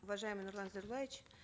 уважаемый нурлан зайроллаевич